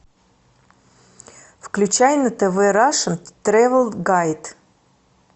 включай на тв рашен тревел гайд